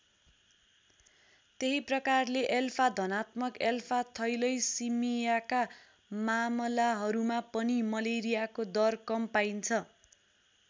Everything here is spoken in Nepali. त्यही प्रकारले एल्फा धनात्मक एल्फाथैलैसिमियाका मामलाहरूमा पनि मलेरियाको दर कम पाइन्छ।